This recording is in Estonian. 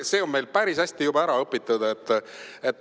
See on meil päris hästi juba ära õpitud.